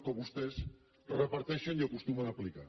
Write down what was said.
que vostès reparteixen i acostumen a aplicar